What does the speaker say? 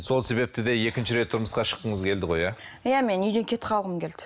сол себепті де екінші рет тұрмысқа шыққыңыз келді ғой иә иә мен үйден кетіп қалғым келді